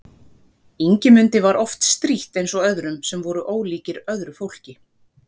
Ingimundi var oft strítt eins og öðrum sem voru ólíkir öðru fólki.